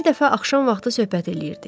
Bir dəfə axşam vaxtı söhbət eləyirdik.